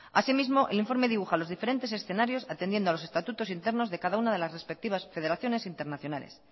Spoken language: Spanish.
así mismo el informe dibuja los diferentes escenarios atendiendo a los estatutos internos de cada una de las respectivas federaciones internacionales